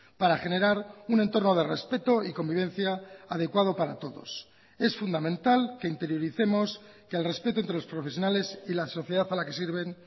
para generar un entorno de respeto y convivencia adecuado para todos es fundamental que interioricemos que el respeto entre los profesionales y la sociedad a la que sirven